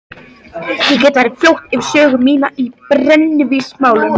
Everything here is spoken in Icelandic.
Ég get farið fljótt yfir sögu mína í brennivínsmálum.